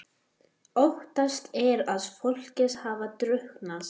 Óttast er að fólkið hafi drukknað